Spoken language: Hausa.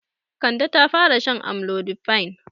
Jiya Kande ta fara shan amlodipine.